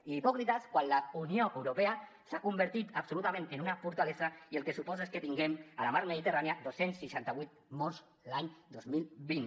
i hipòcrites quan la unió europea s’ha convertit absolutament en una fortalesa i el que suposa és que tinguem a la mar mediterrània dos cents i seixanta vuit morts l’any dos mil vint